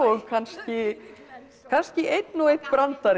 kannski kannski einn og einn brandari